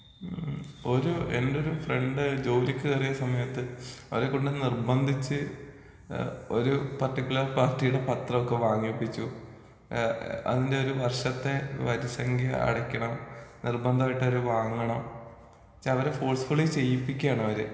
ഹമ് ഒരു എന്റെ ഒരു ഫ്രണ്ട് ഒരു ജോലിക്ക് കയറിയ സമയത്ത്. അവരെക്കൊണ്ട് നിർബന്ധിച്ച് ഒരു പർട്ടിക്കുലർ പാർട്ടിയുടെ പത്രൊക്കെ വാങ്ങിപ്പിച്ചു.ഏഹ് അതിന്റെ ഒരു വർഷത്തെ വരിസംഖ്യ അടക്കണം. നിർബന്ധായിട്ട് അവര് വാങ്ങണം. വെച്ച അവരെ ഫോഴ്സ് ഫുള്ളി ചെയ്യിപ്പിക്കാണ് അവര്.